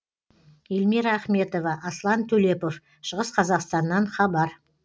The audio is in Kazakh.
эльмира ахметова аслан төлепов шығыс қазақстаннан хабар